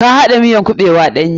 Ka haɗa miyan kuɓewan ɗanye.